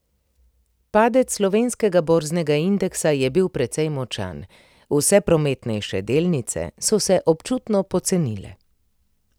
Padec slovenskega borznega indeksa je bil precej močan, vse prometnejše delnice so se občutno pocenile.